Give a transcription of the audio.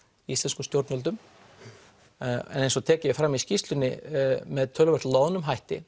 íslenskum stjórnvöldum en eins og er tekið fram í skýrslunni með töluvert loðnum hætti